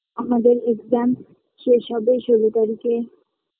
আমাদের exam শেষ হবে ষোলো তারিখে